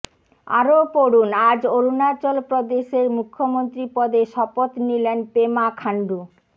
আরও পড়ুন আজ অরুণাচল প্রদেশের মুখ্যমন্ত্রী পদে শপথ নিলেন পেমা খান্ডু